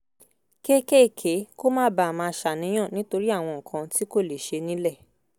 kéékèèké kó má bàa máa ṣàníyàn nítorí àwọn nǹkan tí kò lè ṣẹ ní’lẹ̀